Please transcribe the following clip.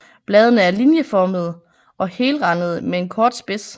Bladene er linjeformede og helrandede med en kort spids